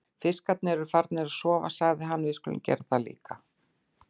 Fiskarnir eru farnir að sofa, sagði hann, við skulum gera það líka.